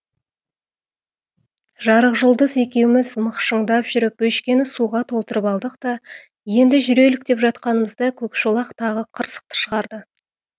жарықжұлдыз екеуміз мықшыңдап жүріп бөшкені суға толтырып алдық та енді жүрелік деп жатқанымызда көкшолақ тағы қырсықты шығарды